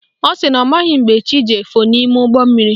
Ọ sị na ọ maghị mgbe chi ji efo n'ime ụgbọmmiri